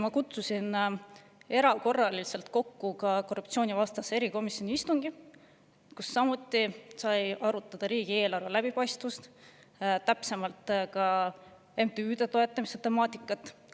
Ma kutsusin tõesti erakorraliselt kokku ka korruptsioonivastase erikomisjoni istungi, kus samuti sai arutada riigieelarve läbipaistvust, täpsemalt MTÜ-de toetamise temaatikat.